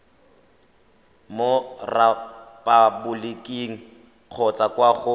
mo repaboliking kgotsa kwa go